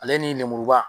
Ale ni lemuruba